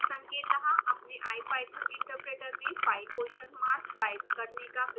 संकेतः अपने ipython interpreter में pie question mark type करने का प्रयास करें